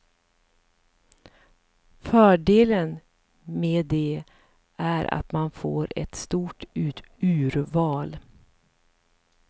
Fördelen med det är att man får ett stort urval.